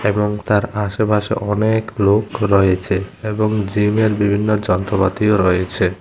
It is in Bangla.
এবং তার আশেপাশে অনেক লোক রয়েছে এবং জিমের বিভিন্ন যন্ত্রপাতিও রয়েছে।